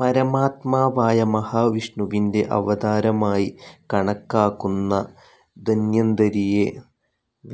പരമാത്മാവായ മഹാവിഷ്ണുവിന്റെ അവതാരമായി കണക്കാക്കുന്ന ധന്വന്തരിയെ,